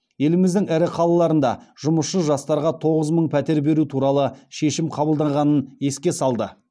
еліміздің ірі қалаларында жұмысшы жастарға тоғыз мың пәтер беру туралы шешім қабылданғанын еске салды